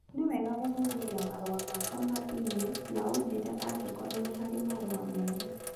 Nĩ wega gũthuthuria marũa makwa ma e-mail na ũnjĩrie angĩkorũo nĩ harĩ marũa merũ